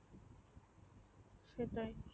সেটাই